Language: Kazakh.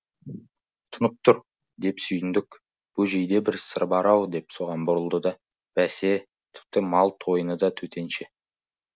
тұнып тұр деп сүйіндік бөжейде бір сыр бар ау деп соған бұрылды да бәсе тіпті мал тойыны да төтенше